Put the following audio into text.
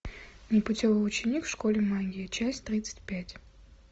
непутевый ученик в школе магии часть тридцать пять